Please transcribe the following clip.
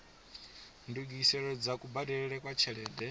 ndungiselo dza kubadelele kwa tshelede